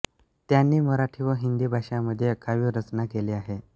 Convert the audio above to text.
त्यांनी मराठी व हिंदी भाषांमध्ये काव्यरचना केली आहे